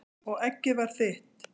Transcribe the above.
Og eggið var þitt!